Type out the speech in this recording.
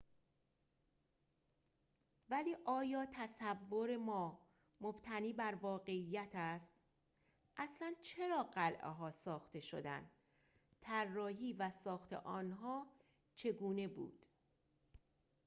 ولی آیا تصور ما مبتنی بر واقعیت است اصلاً چرا قلعه‌ها ساخته شدند طراحی و ساخت آنها چگونه بود